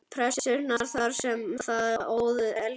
Pressunnar þar sem það óð elginn.